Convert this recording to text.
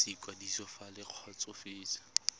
sa ikwadiso fa le kgotsofetse